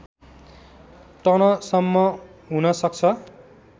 टनसम्म हुन सक्छ